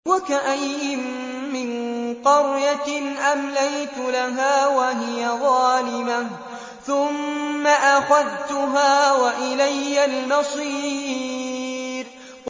وَكَأَيِّن مِّن قَرْيَةٍ أَمْلَيْتُ لَهَا وَهِيَ ظَالِمَةٌ ثُمَّ أَخَذْتُهَا وَإِلَيَّ الْمَصِيرُ